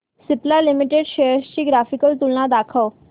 Cipla limited shares ची graphical तुलना दाखव